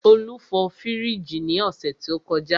Olú fọ fríìgì ní ọ̀sẹ̀ tó kọjá.